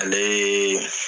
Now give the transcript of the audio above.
Ale ye